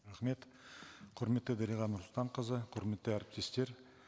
рахмет құрметті дариға нұрсұлтанқызы құрметті әріптестер